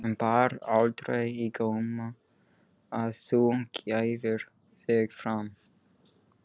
En bar aldrei á góma að þú gæfir þig fram?